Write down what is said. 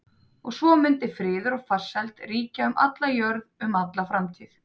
Og svo mundi friður og farsæld ríkja um alla jörð um alla framtíð.